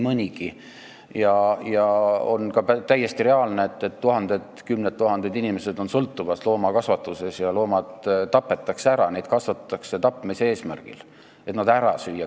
On ka täiesti reaalne, et kümned tuhanded inimesed sõltuvad loomakasvatusest ja loomi tapetakse, neid kasvatatakse tapmise eesmärgil, et nad ära süüa.